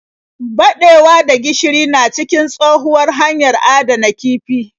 Baɗewa da gishiri na da cikin tshohuwar hanyar adana kifi.